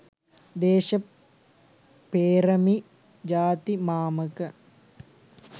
දේශපේ්‍රමි ජාති මාමක